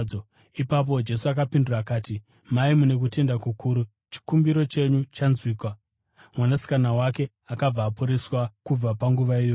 Ipapo Jesu akapindura akati, “Mai, mune kutenda kukuru! Chikumbiro chenyu chanzwikwa.” Mwanasikana wake akabva aporeswa kubva panguva iyoyo.